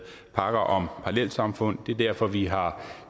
pakker om parallelsamfund det er derfor at vi har